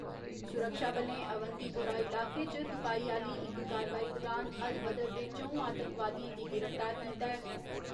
सुरक्षाबलें अवंतीपोरा इलाके च तुपाई आह्‌ली इक कार्रवाई दुरान अल बदर दे च'ऊं आतंकवादियें गी गिरफ्तार कीता ऐ।